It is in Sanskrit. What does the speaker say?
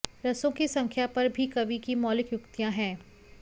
रसों की संख्या पर भी कवि की मौलिक युक्तियां हैं